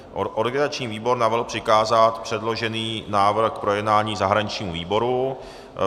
Organizační výbor navrhl přikázat předložený návrh k projednání zahraničnímu výboru.